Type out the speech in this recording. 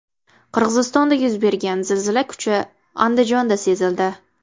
Qirg‘izistonda yuz bergan zilzila kuchi Andijonda sezildi.